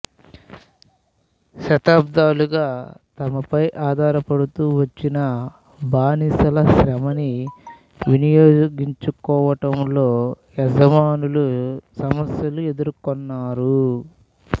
శతాబ్దాలుగా తమ పై ఆధారపడుతూ వచ్చిన బానిసల శ్రమని వినియోగించుకోవటంలో యజమానులు సమస్యలు ఎదుర్కొనారు